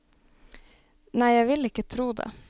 Nei jeg vil ikke tro det.